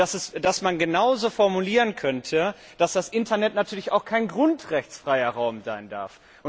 Und dass man genauso formulieren könnte, dass das Internet natürlich auch kein grundrechtsfreier Raum sein darf?